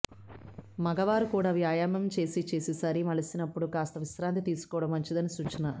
మగవారు కూడా వ్యాయామం చేసి చేసి శరీరం అలిసినప్పుడు కాస్తా విశ్రాంతి తీసుకోవడం మంచిదని సూచన